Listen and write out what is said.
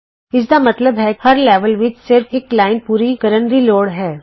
ਇਸ ਦਾ ਮਤਲਬ ਹੈ ਕਿ ਸਾਨੂੰ ਹਰ ਲੈਵਲ ਵਿਚ ਸਿਰਫ ਇਕ ਲਾਈਨ ਪੂਰੀ ਕਰਨ ਦੀ ਲੋੜ ਹੇ